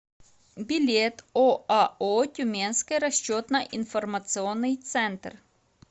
билет оао тюменский расчетно информационный центр